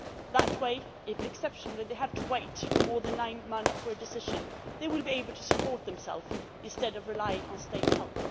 That way, if exceptionally they have to wait for more than nine months for a decision, they will be able to support themselves instead of relying on state help.